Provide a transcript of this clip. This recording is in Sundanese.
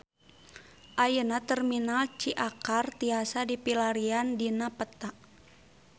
Ayeuna Terminal Ciakar tiasa dipilarian dina peta